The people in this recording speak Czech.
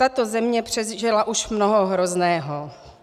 Tato země přežila už mnoho hrozného.